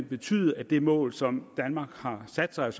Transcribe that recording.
betyde at det mål som danmark har sat sig